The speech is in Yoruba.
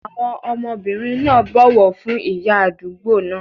Àwọn ọmọbìnrin náà bọ̀wọ̀ fún ìyá àdúgbò náà.